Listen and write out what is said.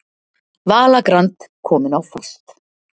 Vala Grand komin á fast